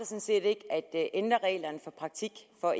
set ikke at ændre reglerne for praktik for